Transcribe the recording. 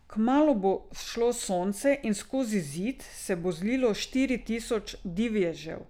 Kmalu bo vzšlo sonce in skozi Zid se bo zlilo štiri tisoč divježev.